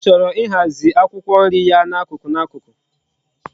Nne ya choro ihazi akwukwo nri ya na akuku na akuku